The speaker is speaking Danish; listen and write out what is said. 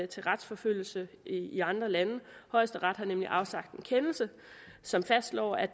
til retsforfølgelse i andre lande højesteret har nemlig afsagt en kendelse som fastslår at